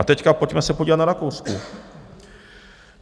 A teď pojďme se podívat na Rakousko.